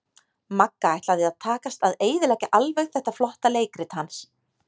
Magga ætlaði að takast að eyðileggja alveg þetta flotta leikrit hans.